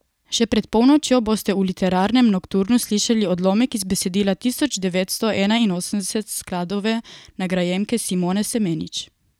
Še pred polnočjo boste v Literarnem nokturnu slišali odlomek iz besedila Tisoč devetsto enainosemdeset skladove nagrajenke Simone Semenič.